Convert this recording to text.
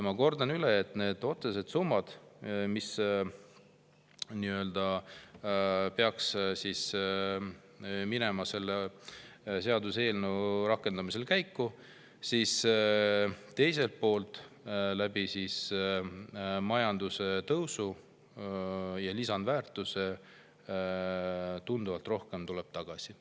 Ma kordan üle, et otsesed summad, mis peaks minema seaduseelnõu rakendamisel käiku, aga teiselt poolt tuleb majandustõusu ja lisandväärtuse kaudu tunduvalt rohkem raha tagasi.